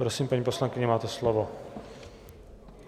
Prosím, paní poslankyně, máte slovo.